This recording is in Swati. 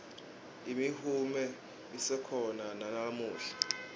imihume isekhona nalamuhla